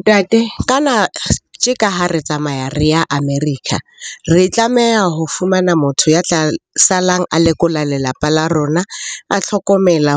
Ntate kana tje ka ha re tsamaya re ya America, re tlameha ho fumana motho ya tla salang a lekola lelapa la rona. A tlhokomela,